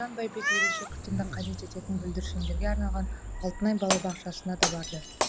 бауыржан байбек ерекше күтімді қажет ететін бүлдіршіндерге арналған алтынай балабақшасына да барды